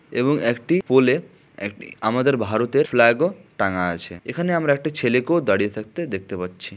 এবং একটি পোলে একটি আমাদের ভারতের ফ্ল্যাগ ও টাঙ্গা আছে এখানে আমরা একটি ছেলেকেও দাঁড়িয়ে থাকতে দেখতে পাচ্ছি।